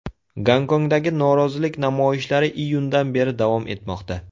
Gonkongdagi norozilik namoyishlari iyundan beri davom etmoqda.